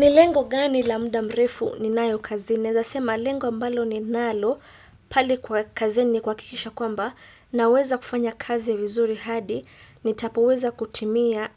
Ni lengo gani la muda mrefu ninayo kazi. Naeza sema lengo mbalo ninalo pale kwa kazini kwakikisha kwamba naweza kufanya kazi vizuri hadi. Nitapoweza kutimia